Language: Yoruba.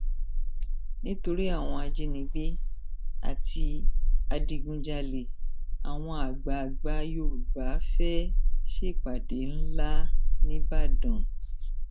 nítorí àwọn ajínigbé àti adigunjalè àwọn àgbààgbà yorùbá fẹẹ ṣèpàdé ńlá nìbàdàn